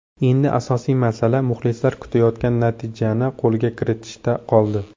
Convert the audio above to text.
Endi asosiy masala muxlislar kutayotgan natijani qo‘lga kiritishda qoldi.